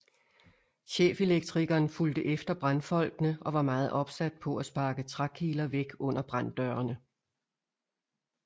Chefelektrikeren fulgte efter brandfolkene og var meget opsat på at sparke trækiler væk under branddørene